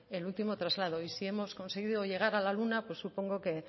el último traslado y si hemos conseguido llegar a luna pues supongo que